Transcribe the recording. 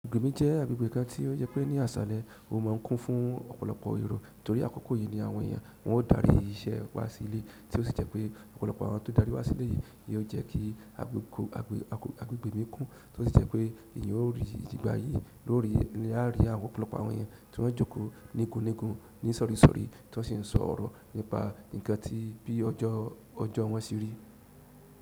Agbègbè mi jẹ́ agbègbè kan tí ó jẹ́ pé ní àṣàlẹ̀ ó má ń kún fún ọ̀pọ̀lọpọ̀ ero torí akoko yìí ni àwọn èèyàn wọn ó darí iṣẹ́ wá sílè tí ó sì jẹ́ pé ọ̀pọ̀lọpọ̀ àwọn tó darí wá sílè yìí yóò jẹ́ kí agbègbè mi kún tí ó sì jẹ́ pé èèyàn ó rí ìdíbà yìí lórí yà rí àwọn ọ̀pọ̀lọpọ̀ àwọn èèyàn tí wọ́n jókòó nígunnígun ní isọri-isọri tí wọ́n sì ń sọ ọ̀rọ̀ nípa ǹkan tí bí ọjọ wọn se rí.